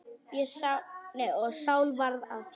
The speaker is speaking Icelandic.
Og Sál varð að Páli.